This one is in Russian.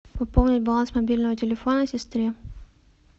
пополнить баланс мобильного телефона сестре